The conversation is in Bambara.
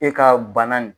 E ka bana in